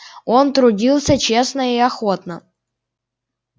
он трудился честно и охотно